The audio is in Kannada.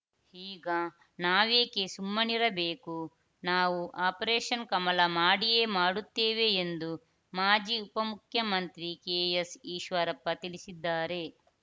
ಈಗ ನಾವೇಕೆ ಸುಮ್ಮನಿರಬೇಕು ನಾವು ಆಪರೇಷನ್‌ ಕಮಲ ಮಾಡಿಯೇ ಮಾಡುತ್ತೇವೆ ಎಂದು ಮಾಜಿ ಉಪಮುಖ್ಯಮಂತ್ರಿ ಕೆಎಸ್‌ಈಶ್ವರಪ್ಪ ತಿಳಿಸಿದ್ದಾರೆ